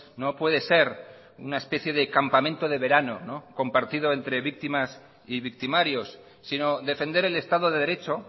no puede ser una especie de campamento de verano compartido entre víctimas y victimarios sino defender el estado de derecho